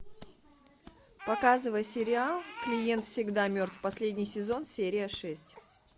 показывай сериал клиент всегда мертв последний сезон серия шесть